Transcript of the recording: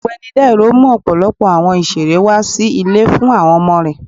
Ọgbẹni Dairo mú ọpọlọpọ awọn ìserẹ́ wa si ilé fún awọn ọmọ rẹ